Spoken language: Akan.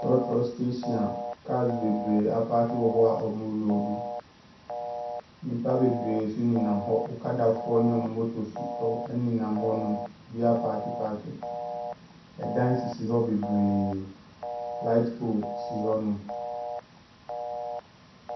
Trɔtrɔ steehyin a kaas bebree apaake wɔhɔ a wɔɔmo loodu nipa bebree nso ne nam hɔ okada foɔ ne ɔmo motos ɛnenam hɔ nom obiaa apaake paake ɛdan sisi hɔ bebree laet pool so. Sisi hɔ.